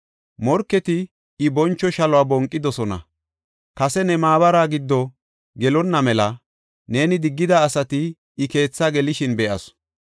Morketi I boncho shaluwa bonqidosona; kase ne maabara giddo gelonna mela, neeni diggida asati, I keethaa gelishin be7asu.